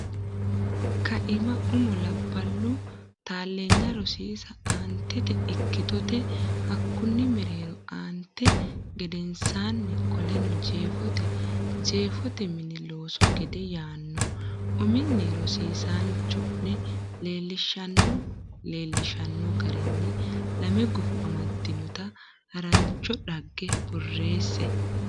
kaima Umo labballu taalleenya rosiisa Aantete Ikkitote Hakkunni Mereero aante gedensaanni Qoleno Jeefote Jeefote Mini Looso Gade yaanno uminni rosiisaanchi o ne leellishanno leellishshanno garinni lame gufo amaddinota harancho dhagge borreesse.